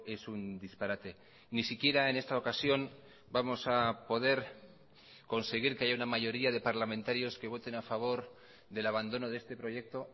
es un disparate ni siquiera en esta ocasión vamos a poder conseguir que haya una mayoría de parlamentarios que voten a favor del abandono de este proyecto